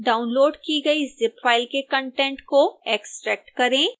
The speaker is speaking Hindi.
डाउनलोड़ की गई zip फाइल के कंटेंट को एक्स्ट्रैक्ट करें